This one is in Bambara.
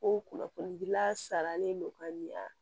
Ko kunnafonidila sarani don ka ɲɛ